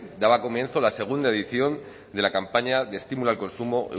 daba comienzo a la segunda edición de la campaña de estímulo al consumo